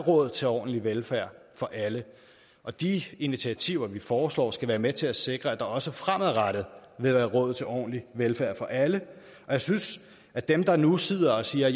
er råd til ordentlig velfærd for alle og de initiativer vi foreslår skal være med til at sikre at der også fremadrettet vil være råd til ordentlig velfærd for alle jeg synes at dem der nu sidder og siger